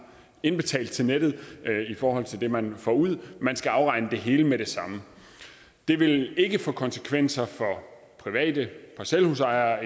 indbetalt til nettet i forhold til det man får ud man skal altså afregne det hele med det samme det vil ikke få konsekvenser for private parcelhusejere